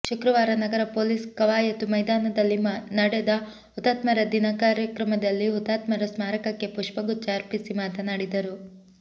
ಶುಕ್ರವಾರ ನಗರ ಪೊಲೀಸ್ ಕವಾಯತು ಮೈದಾನದಲ್ಲಿ ನಡೆದ ಹುತಾತ್ಮರ ದಿನ ಕಾರ್ಯಕ್ರಮದಲ್ಲಿ ಹುತಾತ್ಮರ ಸ್ಮಾರಕಕ್ಕೆ ಪುಷ್ಪಗುಚ್ಛ ಅರ್ಪಿಸಿ ಮಾತನಾಡಿದರು